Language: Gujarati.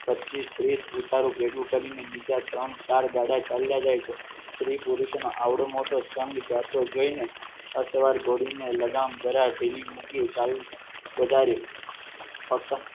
પચીસ-તીસ ઉતારું ભેગું કરીને બીજા ત્રણ ચાર ગાડા ચાલ્યા જાય છે સ્ત્રી પુરુષનો આવડો મોટો સંઘ જાતો જોઈને અસવાર ઘોડીને લગામ જરા ઢીલી મૂકી ચાલુ વધારે